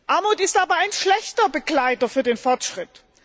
Armut ist aber ein schlechter Begleiter für den Fortschritt.